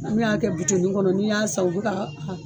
An bɛ a kɛ kɔnɔ n'i y'a san u bi ka